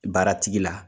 Baaratigi la